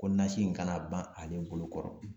Ko nasi in kana ban ale bolokɔrɔ